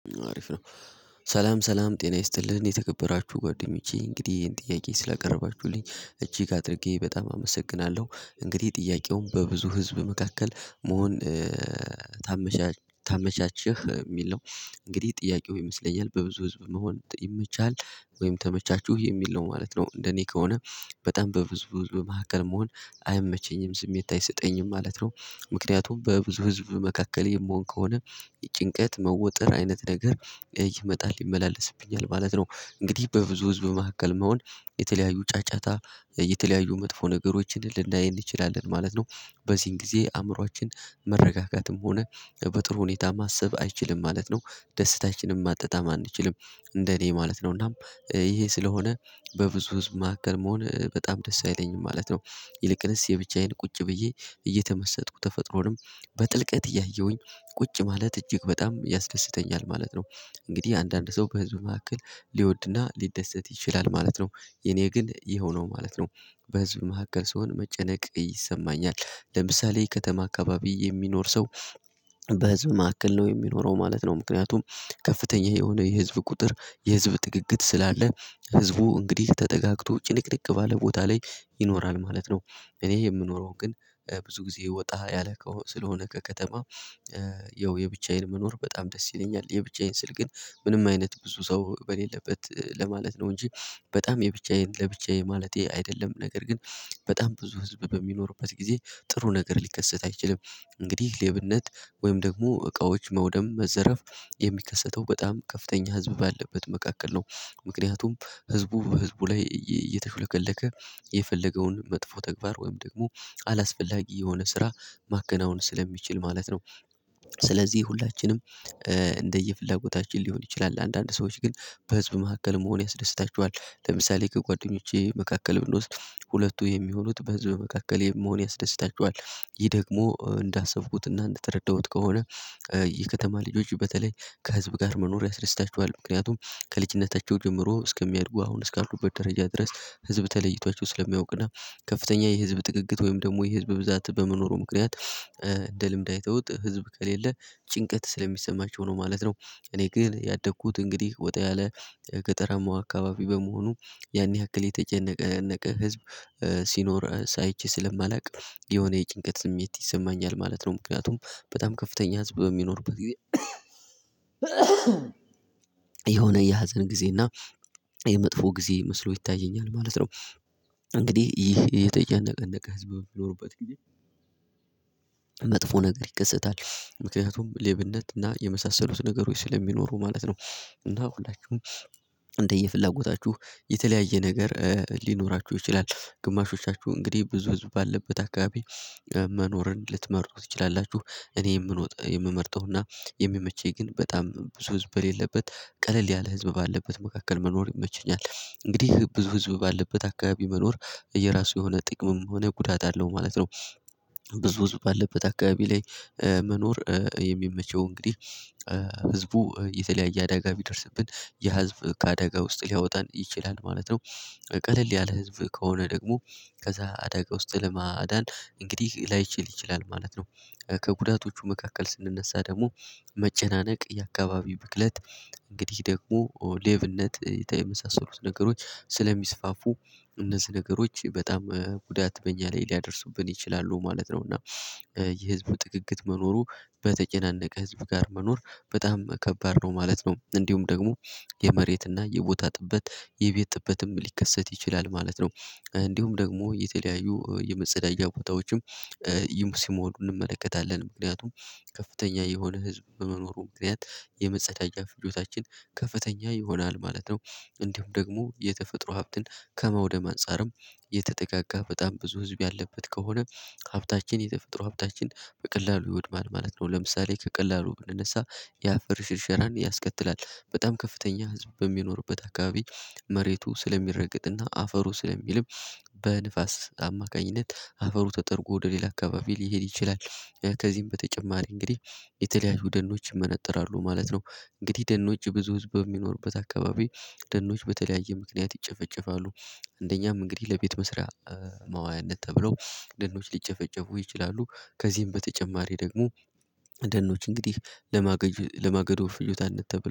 አሪፍ ነው። ሰላም ሰላም ጤና ይስጥልኝ የተከበራችሁ ጓደኞቼ እንግዲህ ይሄን ጥያቄ ስላቀረባችሁልኝ እጅግ አድርጌ በጣም አመሰግናለሁ። እንግዲህ ጥያቄውን በብዙ ህዝብ መካከል መሆን ታመቻች? የሚል ነው። እንግዲህ ጥያቄው ይመስለኛል በብዙ ህዝብ መሆን ይመችሃል ወይም ተመቻችሁ? የሚል ነው ማለት ነው እንደኔ ከሆነ በጣም በብዙ ህዝብ መሀከል መሆን አይመቸኝም ስሜት አይሰጠኝም ማለት ነው። ምክንያቱም በብዙ ህዝብ መካከል የምሆን ከሆነ ጭንቀት፣ መወጠር አይነት ነገር ይመጣል፤ ይመላለስብኛል ማለት ነው። እንግዲህ በብዙ ህዝብ መካከል መሆን የተለያዩ ጫጫታ የተለያዩ መጥፎ ነገሮችን ልናይ እንችላለን ማለት ነው። በዚህን ጊዜ አእምሮአችን መረጋጋትም ሆነ በጥሩ ሁኔታ ማሰብ አይችልም ማለት ነው። ደስታችን ማጣጣም አንችልም እንደኔ ማለት ነው። እናም ይሄ ስለሆነ በብዙ ህዝብ መካከል መሆን በጣም ደስ አይለኝም ማለት ነው። ይልቅንስ የብቻዬን ቁጭ ብዬ እየተመሰጥኩ ተፈጥሮንም በጥልቀት እያየሁኝ ቁጭ ማለት እጅግ በጣም ያስደስተኛል ማለት ነው። እንግዲህ አንዳንድ ሰው በህዝብ መካከል ሊወድና ሊደሰት ይችላል ማለት ነው። የኔ ግን ይሄው ነው ማለት ነው። በህዝብ መካከል ስሆን መጨነቅ ይሰማኛል ለምሳሌ ከተማ አካባቢ የሚኖር ሰው በህዝብ መካከል ነው የሚኖረው ማለት ነው ምክንያቱም ከፍተኛ የሆነ የህዝብ ቁጥር የህዝብ ጥግግት ስላለ ህዝቡ እንግዲህ ተጠጋግቶ ጭንቅንቅ ባለ ቦታ ላይ ይኖራል ማለት ነው። እኔ የምኖረው ግን ብዙ ጊዜ ወጣ ያለ ከሆነ ስለሆነ ከከተማ ያው የብቻዬን መኖር በጣም ደስ ይለኛል። የብቻዬን ስል ግን ምንም አይነት ብዙ ሰው በሌለበት ለማለት ነው እንጂ በጣም የብቻዬን ለብቻዬ ማለቴ አይደለም። ነገር ግን በጣም ብዙ ህዝብ በሚኖሩበት ጊዜ ጥሩ ነገር ሊከሰት አይችልም። እንግዲህ ሌብነት ወይም ደግሞ እቃዎች መውደም መዘረፍ የሚከሰተው በጣም ከፍተኛ ህዝብ ባለበት መካከል ነው። ምክንያቱም ህዝቡ በህዝቡ ላይ እየተሹለከለከ የፈለገውን መጥፎ ተግባር ወይም ደግሞ አላስፈላጊ የሆነ ስራ ማከናወን ስለሚችል ማለት ነው። ስለዚህ ሁላችንም እንደየፍላጎታችን ሊሆን ይችላል። አንዳንድ ሰዎች ግን በህዝብ መካከል መሆን ያስደስታቸዋል። ለምሳሌ ከጓደኞቼ መካከል ብንወስድ ሁለቱ የሚሆኑት በህዝብ መካከል የመሆን ያስደስታቸዋል። ይህ ደግሞ እንዳሰብኩትና እንደተረዳሁት ከሆነ የከተማ ልጆች በተለይ ከህዝብ ጋር መኖር ያስደስታቸዋል። ምክንያቱም ከልጅነታቸው ጀምሮ እስከሚያድጉ አሁን እስካልኩበት ደረጃ ድረስ ህዝብ ተለይቷቸው ስለሚያውቅ እና ከፍተኛ የህዝብ ጥግግት ወይም ደግሞ የህዝብ ብዛት በመኖሩ ምክንያት እንደ ልምድ አይተውት ህዝብ ከሌለ ጭንቀት ስለሚሰማቸው ነው ማለት ነው። እኔ ግን ያደኩት እንግዲህ ወጣ ያለ ገጠራማው አካባቢ በመሆኑ ያን ያክል የተጨናነቀ ህዝብ ሲኖር አይቼ ስለማላውቅ የሆነ የጭንቀት ስሜት ይሰማኛል ማለት ነው። ምክንያቱም በጣም ከፍተኛ ህዝብ በሚኖርበት ጊዜ የሆነ የሀዘን ጊዜ እና የመጥፎ ጊዜ መስሎ ይታየኛል ማለት ነው። እንግዲህ ይህ የተጨናነቀ ህዝብ ቢኖሩበት ጊዜ መጥፎ ነገር ይከሰታል። ምክንያቱም ሌብነት እና የመሳሰሉት ነገሮች ስለሚኖሩ ማለት ነው እና ሁላችሁም እንደየፍላጎታችሁ የተለያየ ነገር ሊኖራችሁ ይችላል ግማሾቻችሁ እንግዲህ ብዙ ህዝብ ባለበት አካባቢ መኖርን ልትመርጡ ትችላላችሁ። እኔ የምሮጠው የምመርጠው እና የሚመቸኝ ግን በጣም ብዙ ህዝብ በሌለበት ቀለል ያለ ህዝብ ባለበት መካከል መኖር ይመቸኛል። እንግዲህ ብዙ ህዝብ ባለበት አካባቢ መኖር የራሱ የሆነ ጥቅምም የሆነ ጉዳት አለው ማለት ነው። ብዙ ህዝብ ባለበት አካባቢ ላይ መኖር የሚመቸው እንግዲህ ህዝቡ የተለያየ አዳጋ ቢደርስብን ያ ህዝብ ከአደጋ ውስጥ ሊያወጣን ይችላል ማለት ነው። ቀለል ያለ ህዝብ ከሆነ ደግሞ ከዛ አደጋ ውስጥ ለማዳን እንግዲህ ላይችል ይችላል ማለት ነው። ከጉዳቶቹ መካከል ስንነሳ ደግሞ መጨናነቅ የአካባቢው ብክለት እንግዲህ ደግሞ ሌብነት የመሳሰሉት ነገሮች ስለሚስፋፉ እነዚህ ነገሮች በጣም ጉዳት በእኛ ላይ ሊያደርሱብን ይችላሉ ማለት ነው እና የህዝቡ ጥግግት መኖሩ በተጨናነቀ ህዝብ ጋር መኖር በጣም ከባድ ነው ማለት ነው። እንዲሁም ደግሞ የመሬትና የቦታ ጥበት የቤት ጥበትም ሊከሰት ይችላል ማለት ነው። እንዲሁም ደግሞ የተለያዩ የመጸዳጂያ ቦታዎችም ሲሞሉ እንመለከታለን። ምክንያቱም ከፍተኛ የሆነ ህዝብ በመኖሩ ምክንያት የመጸዳጃ ፍጆታችን ከፍተኛ ይሆናል ማለት ነው። እንዲሁም ደግሞ የተፈጥሮ ሀብትን ከማውደም አንፃርም የተጠጋጋ በጣም ብዙ ህዝብ ያለበት ከሆነ ሀብታችን የተፈጥሮ ሀብታችን በቀላሉ ይወድማል ማለት ነው። ለምሳሌ ከቀላሉ ብንነሳ የአፈር ሽርሸራን ያስከትላል። በጣም ከፍተኛ ህዝብ በሚኖርበት አካባቢ መሬቱ ስለሚረገጥና አፈሩ ስለሚልም በንፋስ አማካኝነት አፈሩ ተጠርጎ ወደ ሌላ አካባቢ ሊሄድ ይችላል። ከዚህም በተጨማሪ እንግዲህ የተለያዩ ደኖች ይመነጥራሉ ማለት ነው። እንግዲህ ደኖች ብዙ ህዝብ በሚኖርበት አካባቢ ደኖች በተለያየ ምክንያት ይጨፈጨፋሉ አንደኛም እንግዲህ ለቤት መስሪያ ማዋያነት ተብለው ደኖች ሊጨፈጨፉ ይችላሉ። ከዚህም በተጨማሪ ደግሞ ደኖች እንግዲህ ለማገድ ለማገዶ ፍጆታነት ተብሎ